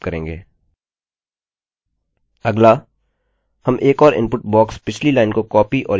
अगला हम एक और इनपुट बॉक्स पिछली लाइन को कॉपी और यहाँ पेस्ट करके बनाएँगे